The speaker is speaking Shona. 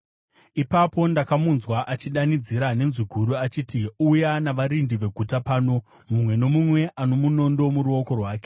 Ipapo ndakamunzwa achidanidzira nenzwi guru achiti, “Uya navarindi veguta pano, mumwe nomumwe ano munondo muruoko rwake.”